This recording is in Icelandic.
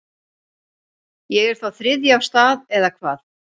Ég er þá þriðji af stað eða hvað.